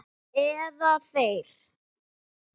Eða þeir.